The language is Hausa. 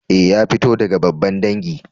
Eh, ya fito daga babban dangi.